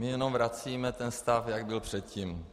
My jenom vracíme ten stav, jak byl předtím.